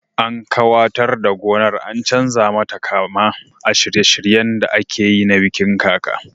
An kawatar da gonar an chanza mata kama a shirye shiryen da akeyi na bikin kaka